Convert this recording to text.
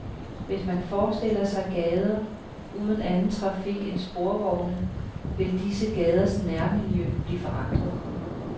Hvis man forestiller sig gader uden anden trafik end sporvogne, vil disse gaders nærmiljø blive forandret.